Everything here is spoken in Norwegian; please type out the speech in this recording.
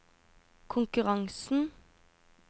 konkurransen